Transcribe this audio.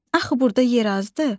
Axı burda yer azdı?